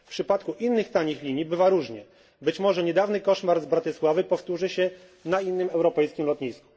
W przypadku innych tanich linii bywa różnie. Być może niedawny koszmar z Bratysławy powtórzy się na innym europejskim lotnisku.